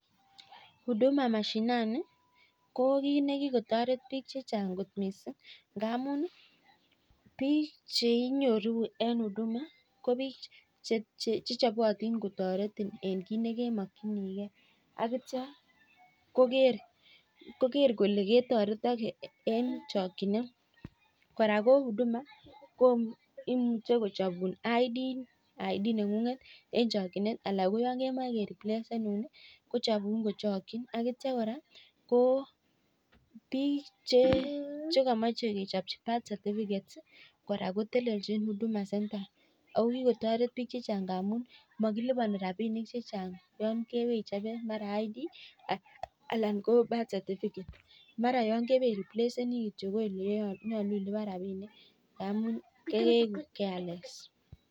Huduma mashinani ko kit nekikotaret bik chechang kot mising ngamun bik chenyoru en huduma ko bik Che chabatin kotaretin en kit nekemakinigei akitya Koger Kole ketaretage en chakinet kora ko huduma koimuche kochabun ID nengunget en chakinet akeriblesenun akechabun kochakin akitya koraa ko bik chekimache kechabchi birth certificate koraa kotelenchin huduma center ako kikotaret bik chechang amun makilubani rabinik chechang yangewee ichobe mara ko ID anan ko birth certificate mara yangewendi iripleseni koyeleiyache iluban rabinik amun keigu keyales